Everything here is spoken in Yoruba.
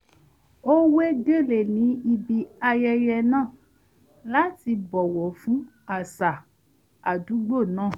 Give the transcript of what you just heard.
ó wé gèlè ní ibi ayẹyẹ náà láti bọ̀wọ̀ fún àṣà àdúgbò náà